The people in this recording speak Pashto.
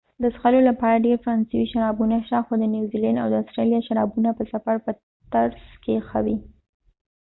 د څښلو لپاره ډېر فرانسوي شرابونه شته خو د نیوزيلېنډ او د اسټرالیا شرابونه به سفر په ترڅ کې ښه وي